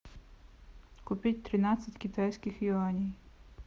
купить тринадцать китайских юаней